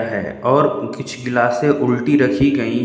है और कुछ गिलासें उल्टी रखी गई--